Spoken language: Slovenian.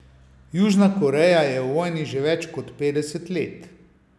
Južna Koreja je v vojni že več kot petdeset let.